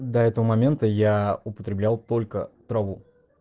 до этого момента я употреблял только траву